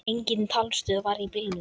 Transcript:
Engin talstöð var í bílnum.